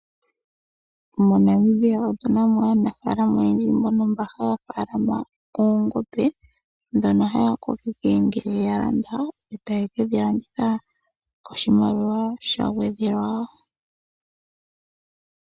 MoNamibia otuna mo aanafalama oyendji mbono ha munu noongombe dhono haya kokeke ngele ya Landa etaye kedhi landitha koshimaliwa sha gwedhelwa.